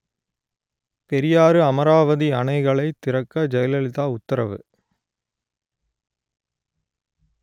பெரியாறு–அமராவதி அணைகளைத் திறக்க ஜெயலலிதா உத்தரவு